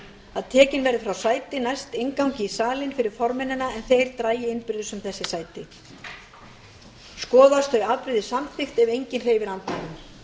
að tekin verði frá sæti næst inngangi í salnum fyrir formennina en þeir dragi innbyrðis um þessi sæti skoðast þau afbrigði samþykkt ef enginn hreyfir andmælum